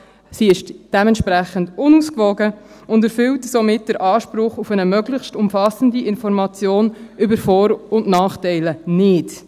sie ist dementsprechend unausgewogen und erfüllt somit den Anspruch auf eine möglichst umfassende Information über Vor- und Nachteile nicht.